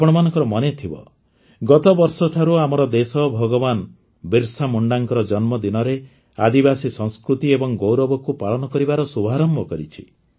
ଆପଣମାନଙ୍କର ମନେଥିବ ଗତବର୍ଷଠାରୁ ଆମର ଦେଶ ଭଗବାନ ବିର୍ସା ମୁଣ୍ଡାଙ୍କ ଜନ୍ମଦିନରେ ଆଦିବାସୀ ସଂସ୍କୃତି ଏବଂ ଗୌରବକୁ ପାଳନ କରିବାର ଶୁଭାରମ୍ଭ କରିଛି